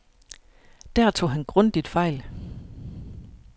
Der tog han grundigt fejl.